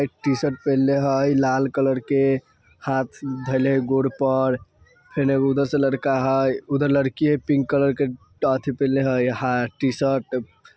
एक टी-शर्ट पिहनले है लाल कलर के हाथ धरले है गोद पर| फिर एक उधर से लड़का है| एक लड़की है पिंक कलर की ड्रेस पिहनले है टी-शर्ट --